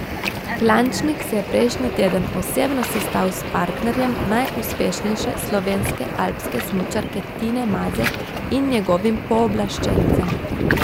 Klančnik se je prejšnji teden osebno sestal s partnerjem najuspešnejše slovenske alpske smučarke Tine Maze in njegovim pooblaščencem.